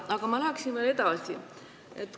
Aga ma läheksin veel edasi.